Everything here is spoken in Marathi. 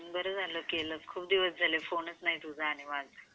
बारा झाले फोन केले बरेच दिवस झाले फोनचा नाही तुझा आणिवान.